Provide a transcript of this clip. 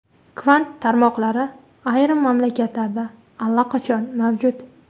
Kvant tarmoqlari ayrim mamlakatlarda allaqachon mavjud.